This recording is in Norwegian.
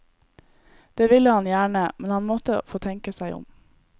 Det ville han gjerne, men han måtte få tenke seg om.